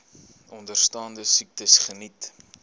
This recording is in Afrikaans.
onderstaande siektes geniet